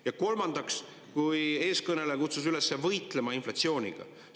Ja kolmandaks, eeskõneleja kutsus üles võitlema inflatsiooniga.